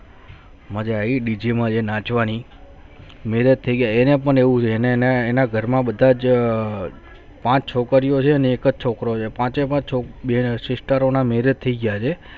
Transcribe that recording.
મજા આવી બીજી મળે નાચવાની marriage થઈ ગયા એને પણ એવું જે એને ને ઘર માં બધા પાંચ છોકરો અને એકચ છોકરો છે પાંચે પણ sister થયી ગયા વે